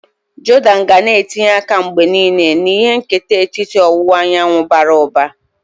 Jordan ga na etinye aka mgbe niile na ihe nketa etiti ọwụwa anyanwụ bara ụba.